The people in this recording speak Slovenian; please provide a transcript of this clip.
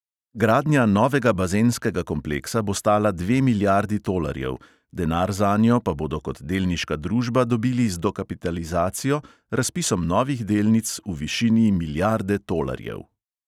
Gradnja novega bazenskega kompleksa bo stala dve milijardi tolarjev, denar zanjo pa bodo kot delniška družba dobili z dokapitalizacijo, razpisom novih delnic v višini milijarde tolarjev.